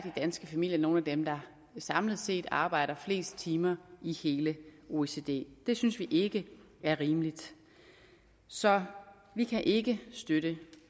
danske familier nogle af dem der samlet set arbejder flest timer i hele oecd det det synes vi ikke er rimeligt så vi kan ikke støtte